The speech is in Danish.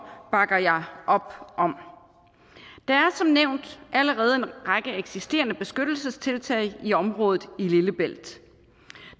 bakker jeg op om der er som nævnt allerede en række eksisterende beskyttelsestiltag i området i lillebælt